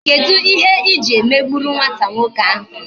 Kedu ihe iji emegburu nwata nwoke ahụ?